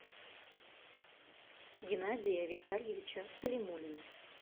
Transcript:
геннадия витальевича калимуллина